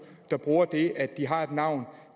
der bruger det at de har et navn